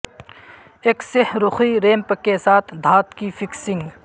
ایک سہ رخی ریمپ کے ساتھ دھات کی فکسنگ